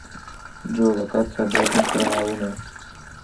джой локация обратная сторона луны